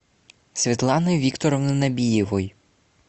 светланы викторовны набиевой